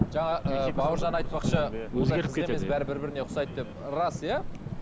жаңа ыыы бауыржан айтпақшы бәрі бір біріне ұқсайды деп рас иә